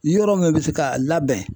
Yɔrɔ min bɛ se ka labɛn